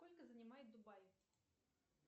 сколько занимает дубай